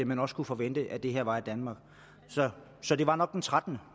man også kunne forvente at det her var i danmark så det var nok den trettende